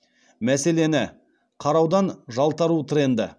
мәселені қараудан жалтару тренді